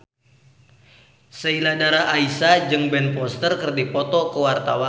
Sheila Dara Aisha jeung Ben Foster keur dipoto ku wartawan